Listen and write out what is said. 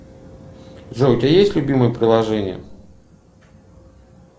джой у тебя есть любимое приложение